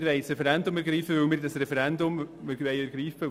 Sie haben aber gewusst, dass wir das Referendum ergreifen wollen.